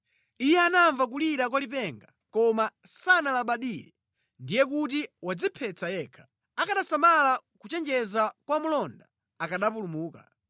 Iye anamva kulira kwa lipenga koma sanalabadire. Ndiye kuti wadziphetsa yekha. Akanasamala kuchenjeza kwa mlonda akanapulumuka.